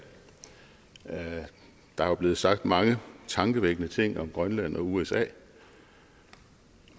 der er jo blevet sagt mange tankevækkende ting om grønland og usa